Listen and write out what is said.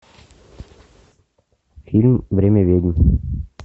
фильм время ведьм